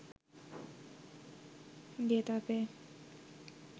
Getafe